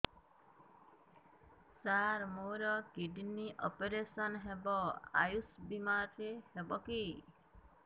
ସାର ମୋର kidney operation ହେବ ଆୟୁଷ ବିମାରେ ହେବ କି